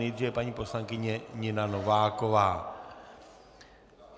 Nejdříve paní poslankyně Nina Nováková.